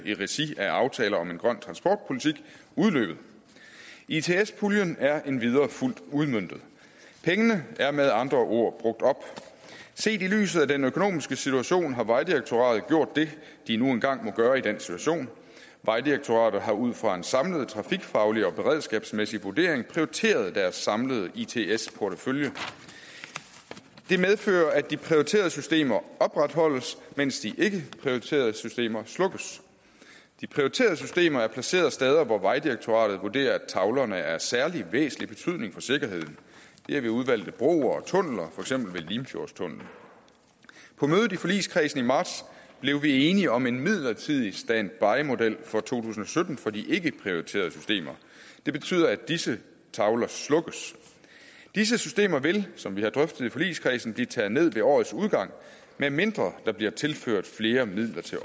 i regi af aftalen om en grøn transportpolitik udløbet its puljen er endvidere fuldt udmøntet pengene er med andre ord brugt op set i lyset af den økonomiske situation har vejdirektoratet gjort det de nu engang må gøre i den situation vejdirektoratet har ud fra en samlet trafikfaglig og beredskabsmæssig vurdering prioriteret deres samlede its its portefølje det medfører at de prioriterede systemer opretholdes mens de ikkeprioriterede systemer slukkes de prioriterede systemer er placeret steder hvor vejdirektoratet vurderer at tavlerne er af særlig væsentlig betydning for sikkerheden det er ved udvalgte broer og tunneler for eksempel ved limfjordstunnelen på mødet i forligskredsen i marts blev vi enige om en midlertidig standbymodel for to tusind og sytten for de ikkeprioriterede systemer det betyder at disse tavler slukkes disse systemer vil som vi har drøftet i forligskredsen blive taget ned ved årets udgang medmindre der bliver tilført flere midler til